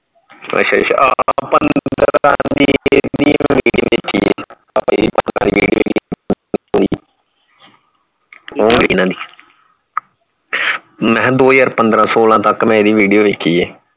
ਅੱਛਾ ਅੱਛਾ ਮੈਂ ਦੋ ਹਜਾਰ ਪੰਦਰਹ ਸੋਲਹ ਤੱਕ ਮੈਂ ਇਹਦੀ video ਵੇਖੀ ਹੈ